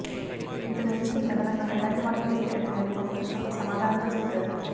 ఇంతకు మించి అదనంగా ఎలాంటి మార్పులు చేయడం లేదని ఒక ప్రశ్నకు సమాధానంగా చెప్పాడు